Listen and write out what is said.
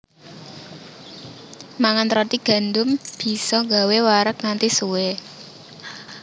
Mangan roti gandum bisa gawé wareg nganti suwé